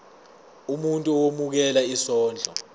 umuntu owemukela isondlo